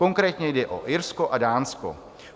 Konkrétně jde o Irsko a Dánsko.